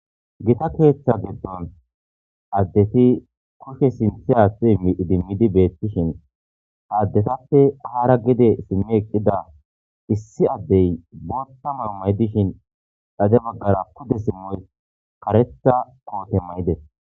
gita koheththa geddon addeti koshe sinthi axi idimmidi beettishin haaddetappe haara gide simme eqqida issi addey botta mar maydishin dhade maggara pude simmoy karetha koote may7ides